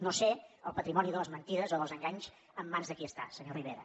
no sé el patrimoni de les mentides o dels enganys en mans de qui està senyor rivera